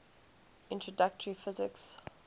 introductory physics